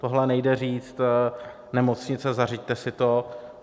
Tohle nejde říct: Nemocnice, zařiďte si to.